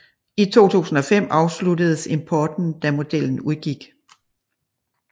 I 2005 afsluttedes importen da modellen udgik